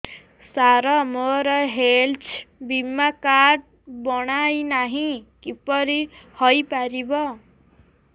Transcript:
ସାର ମୋର ହେଲ୍ଥ ବୀମା କାର୍ଡ ବଣାଇନାହିଁ କିପରି ହୈ ପାରିବ